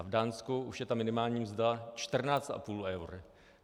A v Dánsku už je minimální mzda 14,5 eura.